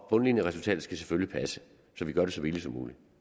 bundlinjeresultatet skal selvfølgelig passe så vi gør det så billigt som muligt